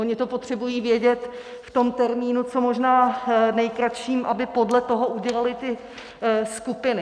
Oni to potřebují vědět v tom termínu co možná nejkratším, aby podle toho udělali ty skupiny.